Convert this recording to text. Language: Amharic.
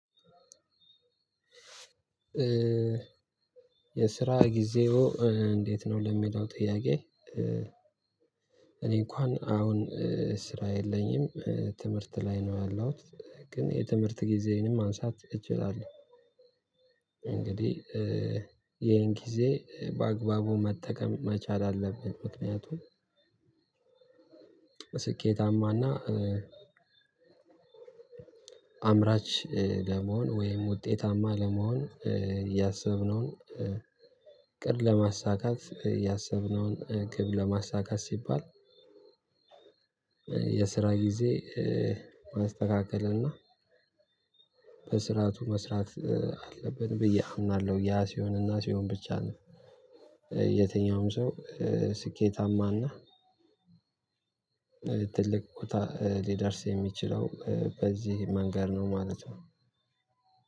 የስራ ጊዜው እንዴት ነው ለሚለው ጥያቄ? እኔ እንኳን አሁን ስራ የለኝም ትምህርት ላይ ነው ያለሁት ግን የትምህርት ጊዜዬንም ማንሳት እችላለሁ። እንግዲህ ይሄን ጊዜ በአግባቡ መጠቀም መቻል አለብን ምክንያቱም ስኬታማና አምራች ለመሆን ወይም ውጤታማ ለመሆን ያሰብነውን እቅድ ለማሳካት ያሰብነውን ግብ ለማሳካት ሲባል። የስራ ጊዜ ማስተካከል እና በስራቱ መስራት አለብን ብዬ አምናለሁ ያ ሲሆን እና ሲሆን ብቻ ነው። የትኛውም ሰው ስኬታማና ትልቅ ቦታ ሊደርስ የሚችለው በዚህ መንገድ ነው ማለት ነው።